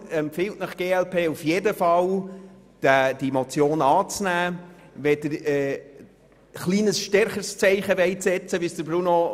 Deshalb empfiehlt Ihnen die glp auf jeden Fall, die Motion anzunehmen, wenn Sie ein etwas stärkeres Zeichen setzen wollen.